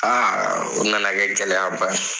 Aa o nana kɛ gɛlɛyaba